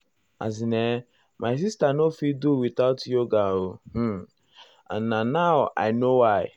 as in[um]my sister um nor fit do without um yoga hmm and na nao i know why.